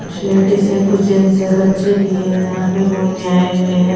कुछ लेडीज है कुछ जेंट्स है बच्चे भी है यहां पे घूमने आए हुए हैं।